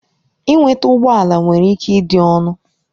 Ịnweta ụgbọ ala nwere ike ịdị ọnụ.